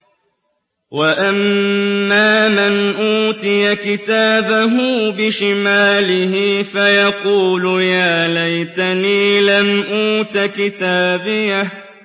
وَأَمَّا مَنْ أُوتِيَ كِتَابَهُ بِشِمَالِهِ فَيَقُولُ يَا لَيْتَنِي لَمْ أُوتَ كِتَابِيَهْ